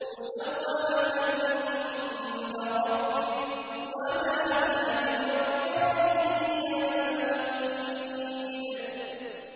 مُّسَوَّمَةً عِندَ رَبِّكَ ۖ وَمَا هِيَ مِنَ الظَّالِمِينَ بِبَعِيدٍ